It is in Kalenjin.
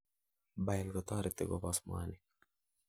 bile kotoreti koboss mwanik